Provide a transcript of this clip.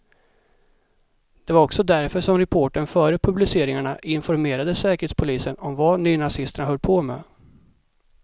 Det var också därför som reportern före publiceringarna informerade säkerhetspolisen om vad nynazisterna höll på med.